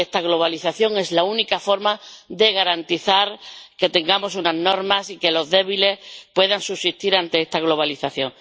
Ante esta globalización es la única forma de garantizar que tengamos unas normas y que los débiles puedan subsistir ante esta globalización.